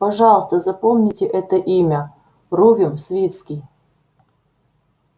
пожалуйста запомните это имя рувим свицкий